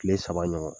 Kile saba ɲɔgɔn